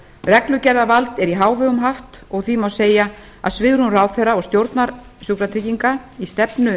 reglugerðarvald er í hávegum haft og því má segja að svigrúm ráðherra og stjórnar sjúkratrygginga í stefnu